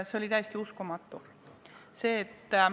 See oli täiesti uskumatu.